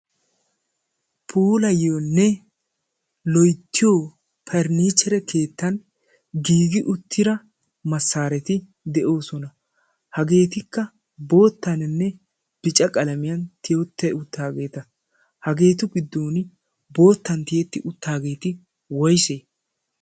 pulayyoonne loyttiyo parnnihchere keettan giigi uttira massaareti de'oosona hageetikka boottaaninne bica qalamiyan tiyotta uttaageeta hageetu giddon boottan tiyetti uttaageeti woysee?